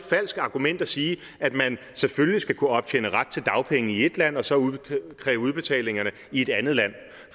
falsk argument at sige at man selvfølgelig skal kunne optjene ret til dagpenge i ét land og så kræve udbetaling i et andet land